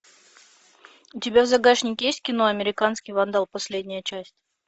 у тебя в загашнике есть кино американский вандал последняя часть